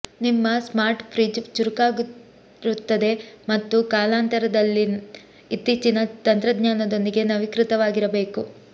ನಿಮ್ಮ smart fridge ಚುರುಕಾಗಿರುತ್ತದೆ ಮತ್ತು ಕಾಲಾನಂತರದಲ್ಲಿ ಇತ್ತೀಚಿನ ತಂತ್ರಜ್ಞಾನದೊಂದಿಗೆ ನವೀಕೃತವಾಗಿರಬೇಕು